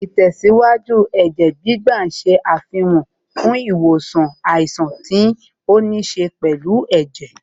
Ìtẹ̀síwájú Ẹ̀jẹ̀ gbígbà ṣe àfikún fún wíwo àìsàn tó níṣe pẹ̀lú ẹ̀jẹ̀